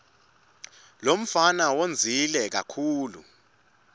lomfana wondzile kakitulu